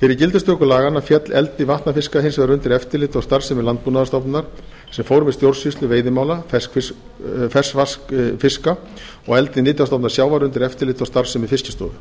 fyrir gildistöku laganna féll eldi vatnafiska hins vegar undir eftirlit og starfsemi landbúnaðarstofnunar sem fór með stjórnsýslu veiðimála ferskvatnsfiska og eldi nytjastofna sjávar undir eftirlit og starfsemi fiskistofu